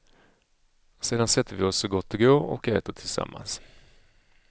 Sedan sätter vi oss så gott det går och äter tillsammans.